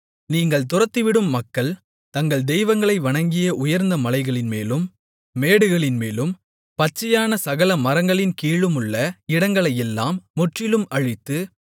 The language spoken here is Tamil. நீங்கள் துரத்திவிடும் மக்கள் தங்கள் தெய்வங்களை வணங்கிய உயர்ந்த மலைகளின்மேலும் மேடுகளின்மேலும் பச்சையான சகல மரங்களின் கீழுமுள்ள இடங்களையெல்லாம் முற்றிலும் அழித்து